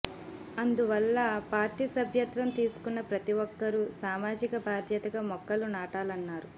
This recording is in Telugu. అందువల్ల పార్టీ సభ్యత్వం తీసుకున్న ప్రతిఒక్కరూ సామాజిక బాధ్యతగా మొక్కలు నాటాలన్నారు